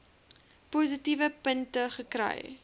positiewe punte kry